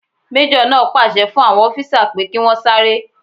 Majo naa pàṣẹ fún àwọn ọfisa pé kí wọ́n sáré